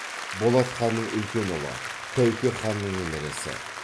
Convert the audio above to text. болат ханның үлкен ұлы тәуке ханның немересі